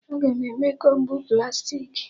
Aga na-eme Kombu plastiki